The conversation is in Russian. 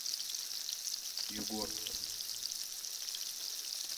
югорск